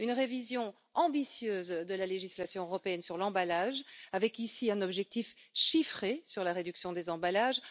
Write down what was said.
Une révision ambitieuse de la législation européenne sur l'emballage, avec un objectif chiffré sur la réduction des emballages